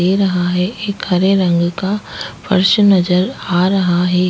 दे रहा है एक हरे रंग का फर्श नजर आ रहा है।